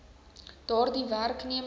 daardie werkne mers